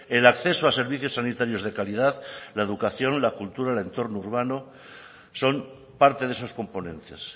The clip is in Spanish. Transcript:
el acceso a servicios sanitarios de calidad la educación la cultura el entorno urbano son parte de esos componentes